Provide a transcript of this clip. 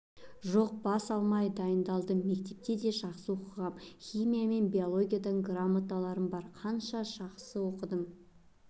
жоқ бас алмай дайындалдым мектепте де жақсы оқығам химия мен биологиядан грамоталарым бар қанша жақсы оқыдым